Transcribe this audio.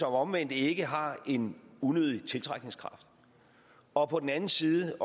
omvendt ikke har en unødig tiltrækningskraft og på den anden side